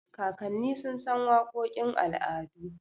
Kakanni sun san waƙoƙin al'adu.